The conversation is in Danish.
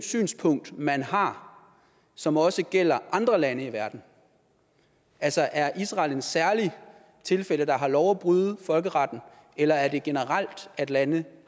synspunkt man har som også gælder andre lande i verden altså er israel et særligt tilfælde der har lov at bryde folkeretten eller er det generelt at lande